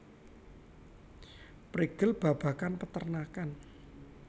Prigel babagan peternakan